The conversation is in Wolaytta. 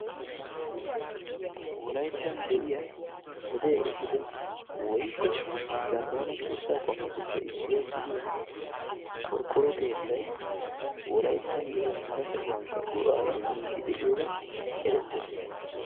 Wolayttan wodee ehiido woykko zaammana keetattupe issuwaa gidiyaa qorqqoro keettay wolayttan gidinkka hara sohuwaan go"aa immidi de'iyoogan erettes.